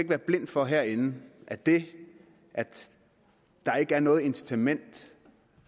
være blind for herinde at det at der ikke er noget incitament